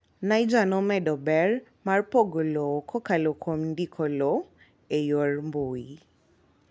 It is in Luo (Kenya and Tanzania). Niger nomedo ber mar pogo lowo kokalo kuom ndiko lowo e yor mbui.